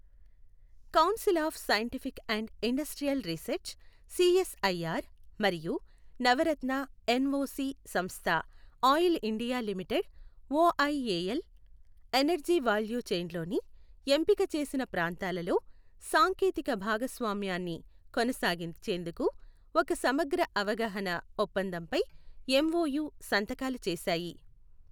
Council of scientific and industrial research CSIR మరియు Navratna NOC సంస్థ oil India limited OIL energy value చైన్లోని ఎంపిక చేసిన ప్రాంతాలలో సాంకేతిక భాగస్వామ్యాన్ని కొనసాగించేందుకు ఒక సమగ్ర అవగాహన ఒప్పందంపై ఎంఓయు సంతకాలు చేశాయి.